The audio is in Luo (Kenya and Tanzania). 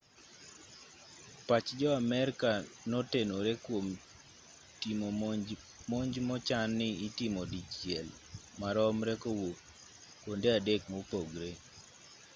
pach jo amerka notenore kwom timo monj mochan ni itimo dichiel maromre kowuok kwonde adek mopogore